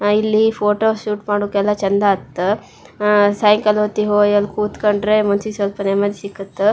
ಇಲ್ಲಿ photo shoot ಮಾಡೋಕೆ ಎಲ್ಲಾ ಚಂದ ಆತ್ ಅಹ್ ಸಾಯಂಕಾಲ ಹೊತ್ತಿಗೆ ಹೋಗಿ ಕೂತ್ಕೊಂಡ್ರೆ ಮನಸ್ಸಿಗೆ ಸ್ವಲ್ಪ ನೆಮ್ಮದಿ ಸಿಕುತ್.